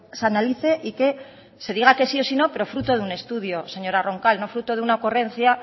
se analice y que se diga que sí o si no pero fruto de un estudio señora roncal no fruto de una ocurrencia